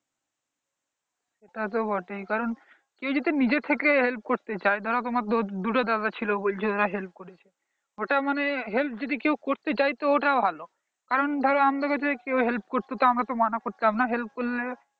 তা তো বটেই কারণ কেউ যদি নিজে থেকেই help করতে চান তাহলে তোমার দুটো দাদা ছিল ওরা help করেছে ওটা মানে help যদি কেউ করতে চায় তাহলে ওটা ভালো। কারণ দাদা আমাদেরকে তো কেউ help করতে তো আমরা তো মানা করতাম না help করলে